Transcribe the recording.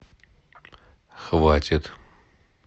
хватит